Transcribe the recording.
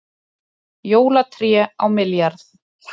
Jólatré á milljarð